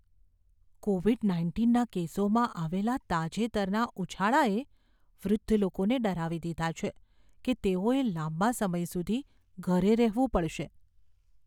Covid નાઇન્ટીનના કેસોમાં આવેલા તાજેતરના ઉછાળાએ વૃદ્ધ લોકોને ડરાવી દીધા છે કે તેઓએ લાંબા સમય સુધી ઘરે રહેવું પડશે.